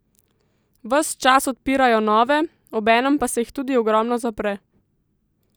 Ves čas odpirajo nove, obenem pa se jih ogromno tudi zapre.